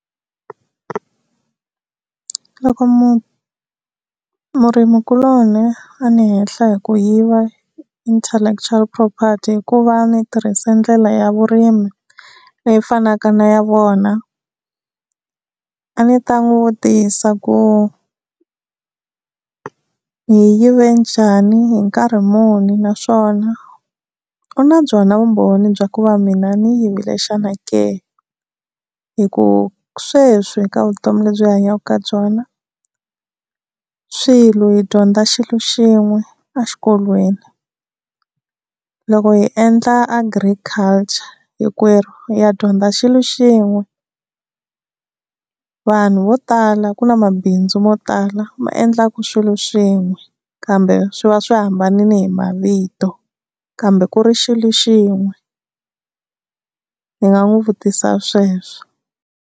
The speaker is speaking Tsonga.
Loko munhu murimikuloni a ni hehla hi ku yiva intellectual property hikuva ni tirhise ndlela ya vurimi leyi fanaka na ya vona a ndzi ta n'wi vutisa ku hi yive njhani hi nkarhi muni naswona u na byona vumbhoni bya ku va mina ni yivile xana ke, hi ku sweswi eka vutomi lebyi hi hanyaka eka byona xilo hi dyondza xilo xin'we exikolweni loko hi endla agriculture hinkwerhu hi ya dyondza xilo xin'we, vanhu vo tala ku na mabindzu mo tala ma endlaka swilo swin'we kambe swi va swi hambanile hi mavito kambe ku ri xilo xin'we ndzi nga n'wi vutisa sweswo.